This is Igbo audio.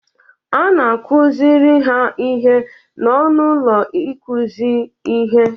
A na-akụziri ha ihe n'ọnụ ụlọ ịkụzi ihe.